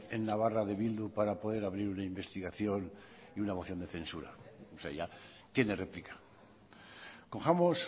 en navarra de bildu para poder abrir una investigación y una moción de censura tiene réplica cojamos